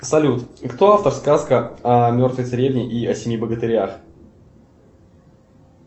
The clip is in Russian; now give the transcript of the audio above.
салют кто автор сказка о мертвой царевне и о семи богатырях